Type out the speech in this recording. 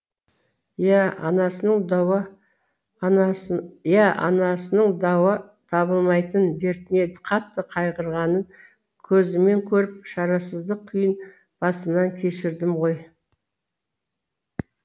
иә анасының дауа табылмайтын дертіне қатты қайғырғанын көзіммен көріп шарасыздық күйін басымнан кешірдім ғой